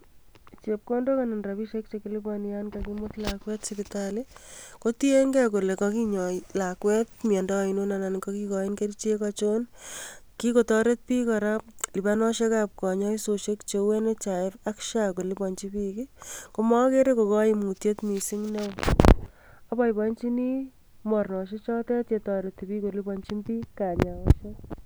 Chepkondok anan rapisiek yan kakimut lakwet sipitali kotienge kele kokinyoi lakwet miandoo ainon anan kokikoin kerichek achon, kikotoret biik lipanosiekab kanyoisosiek cheu 'National healthy insurance funds' ak 'social healthy insurance' koliponji biik komokere ko koimutiet missing neo aboiboenjini mornosiechotet chetoreti koliponjin biik kanyaoshek.